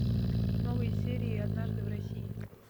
новые серии однажды в россии